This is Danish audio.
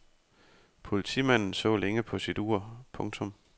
Politimanden så længe på sit ur. punktum